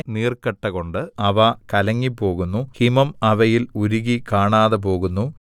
നീർക്കട്ടകൊണ്ട് അവ കലങ്ങിപ്പോകുന്നു ഹിമം അവയിൽ ഉരുകി കാണാതെപോകുന്നു